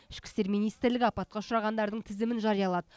ішкі істер министрлігі апатқа ұшырағандардың тізімін жариялады